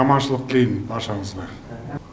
аманшылық тілеймін баршаңызға